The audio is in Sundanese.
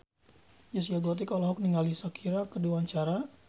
Zaskia Gotik olohok ningali Shakira keur diwawancara